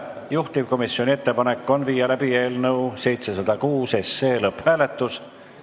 Juhtivkomisjoni ettepanek on viia läbi eelnõu 706 lõpphääletus.